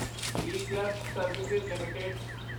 ਐਕਲਰਕਸ service LTD